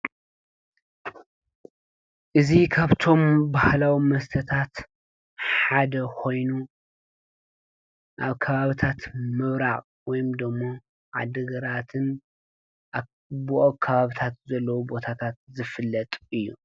እዙ ኻብቶም ባሃላዊ መስተታት ሓደ ኾይኑ ናብ ካባብታት ምውራዕቕ ወይምዶሞ ዓድግራትን ኣብኡ ኣብ ካባብታት ዘለዉ ቦታታት ዝፍለጡ እዩ።